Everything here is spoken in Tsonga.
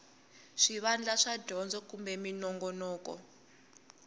swivandla swa dyondzo kumbe minongonoko